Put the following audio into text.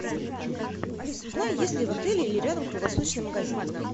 алиса узнай есть ли в отеле или рядом круглосуточный магазин